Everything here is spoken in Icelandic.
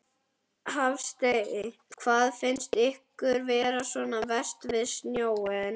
Hafsteinn: Hvað finnst ykkur vera svona verst við snjóinn?